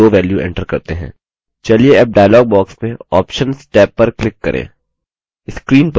चलिए tab dialog box में options tab पर click करें